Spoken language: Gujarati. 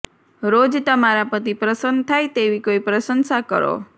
રોજ તમારા પતિ પ્રસન્ન થાય તેવી કોઈ પ્રશંસા કરો